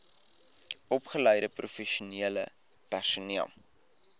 opgeleide professionele personeel